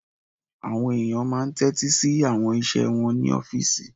Àwọn èèyàn máa n tẹ́tí sí àwọn iṣẹ́ wọn ní ọ́fìsì